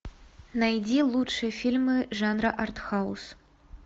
найди лучшие фильмы жанра арт хаус